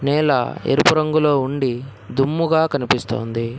నేల ఎరుపు రంగులో ఉండి దుమ్ముగా కనిపిస్తోంది.